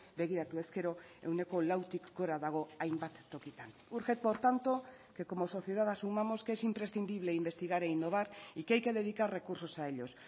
begiratu ezkero ehuneko lautik gora dago hainbat tokitan urge por tanto que como sociedad asumamos que es imprescindible investigar e innovar y que hay que dedicar recursos a ellos